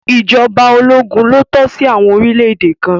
ìjọba ológun lo tọ́ sí àwọn orílẹ̀ èdè kan.